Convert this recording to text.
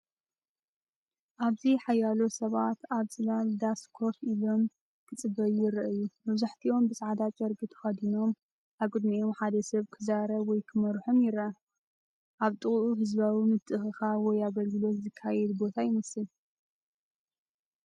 ኣብዚ ሓያሎ ሰባት ኣብ ጽላል ዳስ ኮፍ ኢሎም ክጽበዩ ይረኣዩ። መብዛሕትኦም ብጻዕዳ ጨርቂ ተከዲኖም፡ ኣብ ቅድሚኦም ሓደ ሰብ ክዛረብ ወይ ክመርሖም ይረአ። ኣብ ጥቓኡ ህዝባዊ ምትእኽኻብ ወይ ኣገልግሎት ዝካየደሉ ቦታ ይመስል።